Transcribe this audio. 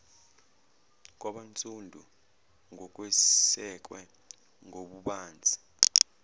kwabansundu ngokwesekwe ngobubanzi